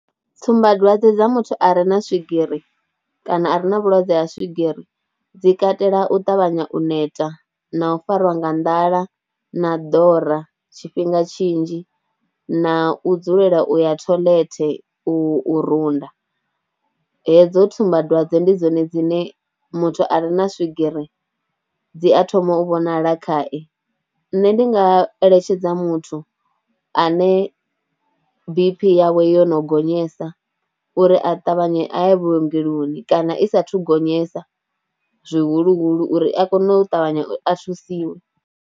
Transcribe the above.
Tsumbadwadze dza muthu a re na swigiri kana a re na vhulwadze ha swigiri dzi katela u ṱavhanya u neta na u fariwa nga nḓala na dora tshifhinga tshinzhi na u dzulela u ya toilet u u ruda. Hedzo tsumbadwadze ndi dzone dzine muthu a re na swigiri dzi a thoma u vhonala khae. Nṋe ndi nga eletshedza muthu ane B_P yawe yo no gonyesa uri a ṱavhanye a ye vhuongeloni kana i saathu gonyesa zwihuluhulu uri a kone u tavhanya a thusiwe.